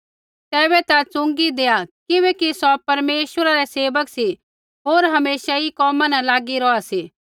तैबै ता च़ुँगी लगान देआ किबैकि सौ परमेश्वरा रै सेवक सी होर हमेशा ऐई कोमा न लागी रौहा सी